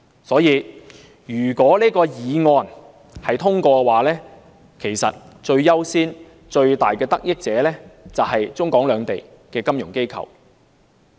所以，如果擬議決議案獲得通過，最優先和最大的得益者就是中港兩地的金融機構。